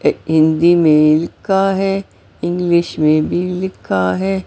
हिंदी में लिखा है इंग्लिश में भी लिखा है।